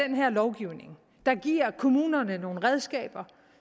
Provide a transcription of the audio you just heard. den her lovgivning der giver kommunerne nogle redskaber